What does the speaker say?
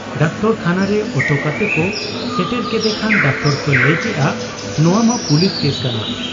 ᱰᱟᱠᱴᱚᱨᱠᱷᱟᱱᱟᱨᱮ auto ᱠᱟᱛᱮᱠᱚ ᱥᱮᱴᱮᱨ ᱠᱮᱫᱮ ᱠᱷᱟᱱ ᱰᱟᱠᱛᱚᱨᱠᱚ ᱞᱟᱹᱭ ᱠᱮᱜ ᱟ ᱱᱚᱶᱟ ᱢᱟ ᱯᱩᱞᱤᱥ ᱠᱮᱥ ᱠᱟᱱᱟ ᱾